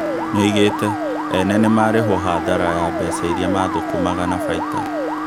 Nĩoigĩte "Ene nĩmarĩgwo hathara ya mbeca iria mathũkũmaga na baita"